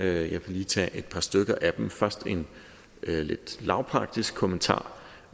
jeg vil lige tage et par stykker af dem først en lidt lavpraktisk kommentar